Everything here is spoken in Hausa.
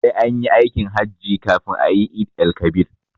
Sai anyi aikin hajji kafin ayi eid-el-kabir